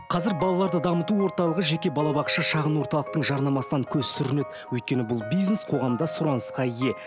қазір балаларды дамыту орталығы жеке балабақша шағын орталықтың жарнамасынан көз сүрінеді өйткені бұл бизнес қоғамда сұранысқа ие